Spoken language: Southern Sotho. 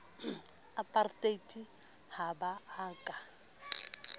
apartheid ha ba a ka